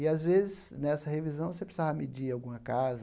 E, às vezes, nessa revisão, você precisava medir alguma casa.